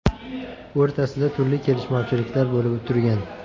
o‘rtasida turli kelishmovchiliklar bo‘lib turgan.